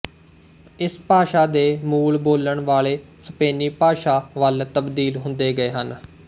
ਇਸ ਭਾਸ਼ਾ ਦੇ ਮੂਲ ਬੋਲਣ ਵਾਲੇ ਸਪੇਨੀ ਭਾਸ਼ਾ ਵੱਲ ਤਬਦੀਲ ਹੁੰਦੇ ਗਏ ਹਨ